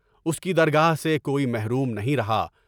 اس کی درگاہ سے کوئی محروم نہیں رہا۔